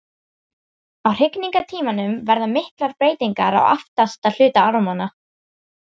á hrygningartímanum verða miklar breytingar á aftasti hluta ormanna